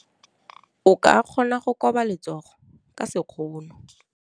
O ka kgona go koba letsogo ka sekgono.